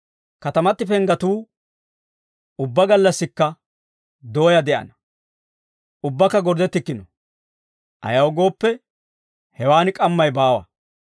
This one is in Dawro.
Katamati penggetuu ubbaa gallassikka dooyaa de'ana; ubbakka gorddettikkino. Ayaw gooppe, hewan k'ammay baawa.